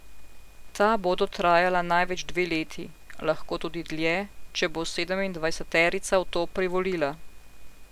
Ta bodo trajala največ dve leti, lahko tudi dlje, če bo sedemindvajseterica v to privolila.